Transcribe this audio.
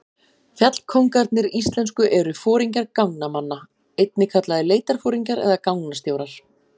Fjallkóngarnir íslensku eru foringjar gangnamanna, einnig kallaðir leitarforingjar eða gangnastjórar.